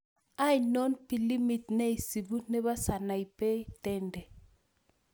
Ainon pilimit nesibuu ne po sanaipei Tande